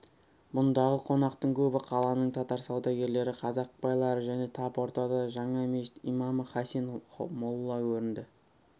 бұндағы қонақтың көбі қаланың татар саудагерлері қазақ байлары және тап ортада жаңа мешіт имамы хасен молла көрінді